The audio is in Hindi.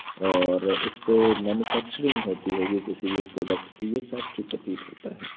और-रर इसपे मैन्युफैक्चरिंग होती होगी किसी भी प्रोडक्ट की यह फैक्ट्री प्रतीत होता है।